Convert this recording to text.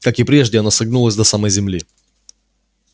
как и прежде оно согнулось до самой земли